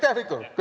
Aitäh, Viktor!